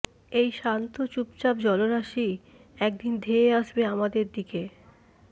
এই শান্ত চুপচাপ জলরাশি একদিন ধেয়ে আসবে আমাদের দিকে